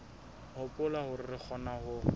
hopola hore re kgona ho